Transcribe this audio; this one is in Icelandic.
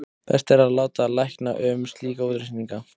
best er að láta lækna um slíka útreikninga